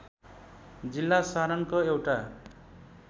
जिल्ला सारनको एउटा